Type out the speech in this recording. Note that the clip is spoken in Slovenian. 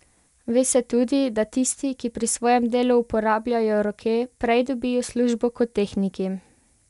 Ve se tudi, da tisti, ki pri svojem delu uporabljajo roke, prej dobijo službo, kot tehniki.